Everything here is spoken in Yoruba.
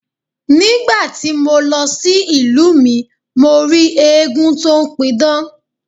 Ní gbà ti mo lọ sí ìlú mi, mo rí eégún tó ń pidán.